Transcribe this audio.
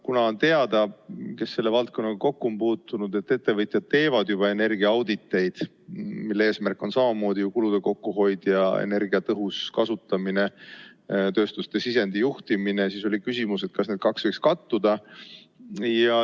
Kuna neile, kes selle valdkonnaga kokku on puutunud, on teada, et ettevõtjad teevad juba energiaauditeid, mille eesmärk on samamoodi kulude kokkuhoid, energia tõhus kasutamine ning tööstuste sisendi juhtimine, siis oli küsimus, kas need kaks võiks kattuda.